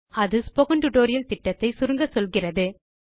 அது spoken tutorial திட்டத்தை சுருங்கச்சொல்கிறது